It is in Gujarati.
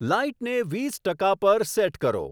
લાઈટને વીસ ટકા પર સેટ કરો